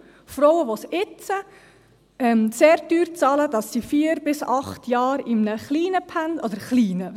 Frauen, die jetzt sehr teuer bezahlen, dass sie vier bis acht Jahre in einem kleinen Pensum – also klein, was ist klein?